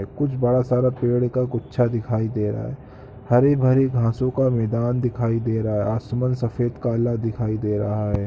कुछ बड़ा सारा पेड़ का गुच्छा दिखाई दे रहा हैहरी-भरी घासों का मैदान दिखाई दे रहा हैआसमान सफेद-कला दिख रहा है।